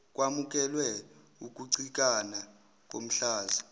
kwamukelwe ukucikana komhlaza